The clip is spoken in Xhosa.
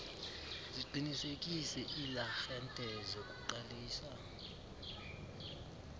ziqinisekise iiarhente zokuqalisa